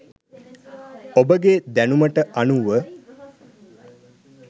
ඔබගේ දැනුමට අනුව